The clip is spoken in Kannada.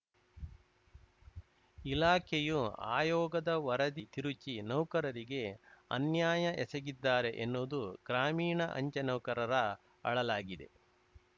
ಇಲಾಖೆಯು ಆಯೋಗದ ವರದಿ ತಿರುಚಿ ನೌಕರರಿಗೆ ಅನ್ಯಾಯ ಎಸಗಿದ್ದಾರೆ ಎನ್ನುವುದು ಗ್ರಾಮೀಣ ಅಂಚೆ ನೌಕರರ ಅಳಲಾಗಿದೆ